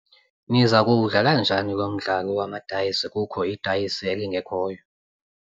Niza kuwudlala njani lo mdlalo wamadayisi kukho idayisi elingekhoyo?